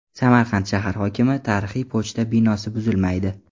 Samarqand shahar hokimi: tarixiy pochta binosi buzilmaydi.